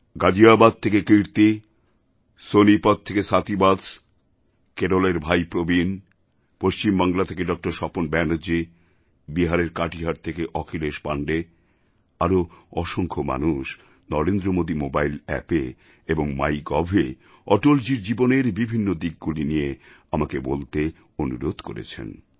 গাজিয়াবাদ থেকে কীর্তি সোনিপত থেকে স্বাতি বৎস কেরলের ভাই প্রবীণ পশ্চিমবাংলা থেকে ডক্টর স্বপন ব্যানার্জী বিহারের কাটিহার থেকে অখিলেশ পাণ্ডে আরও অসংখ্য মানুষ নরেন্দ্র মোদী মোবাইল অ্যাপএ এবং মাই গভএ অটলজীর জীবনের বিভিন্ন দিকগুলি নিয়ে আমাকে বলতে অনুরোধ করেছেন